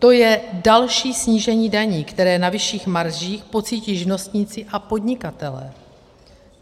To je další snížení daní, které na vyšších maržích pocítí živnostníci a podnikatelé.